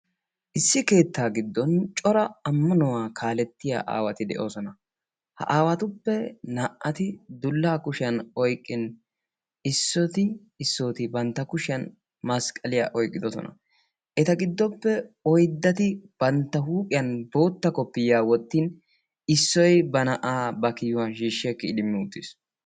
Issi keettaa giddon cora ammanuwaa kalettiyaa aawati de'oosona. ha aawatuppe naa"ati dullaa kushshiyaan oyqqin issoti issoti bantta kushiyaan masqliyaa oyqqidosona. eta gidoppe oydati bantta huuphphiyaan bootta kopiyiyaa wottin issoy ba na'aa ba kiyuwaan shiishi oykki idimmi uttiis.